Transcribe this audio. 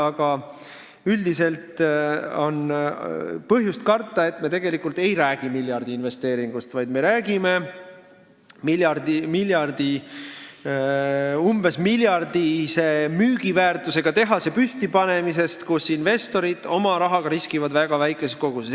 Aga üldiselt on põhjust karta, et me tegelikult ei räägi miljardiinvesteeringust, vaid me räägime umbes miljardilise müügiväärtusega tehase püstipanemisest, kus investorid oma rahaga riskivad väga väikeses koguses.